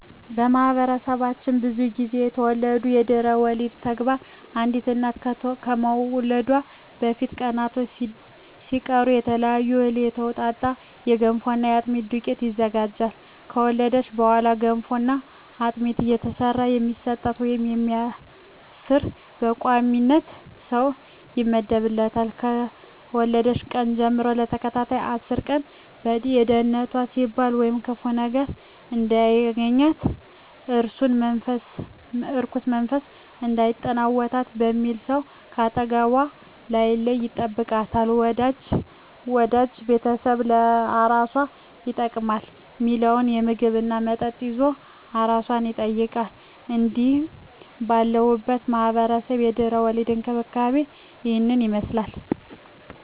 በማህበረሰባችን ብዙ ግዜ የተለመደው የድህረ ወሊድ ተግባር አንዲት እናት ከመውለዷ በፊት ቀናቶች ሲቀሩ ከተለያየ እህል የተውጣጣ የገንፎና የአጥሚት ዱቄት ይዘጋጃል። ከወለደች በኋላ ገንፎና አጥሚት እየሰራ የሚሰጣት ወይም የሚያርስ በቋሚነት ሰው ይመደብላታል፣ ከወለደችበት ቀን ጀም ለተከታታይ አስር ቀን ለደንነቷ ሲባል ወይም ክፉ ነገር እንዳያገኛት(እርኩስ መንፈስ እንዳይጠናወታት) በሚል ሰው ከአጠገቧ ሳይለይ ይጠብቃታል፣ ወዳጅ ቤተሰብ ለአራሷ ይጠቅማል ሚለውን ምግብ እና መጠጥ ይዞ አራሷን ይጠይቃል። እንግዲህ ባለሁበት ማህበረሰብ የድህረ ወሊድ እንክብካቤ እሂን ይመስላል።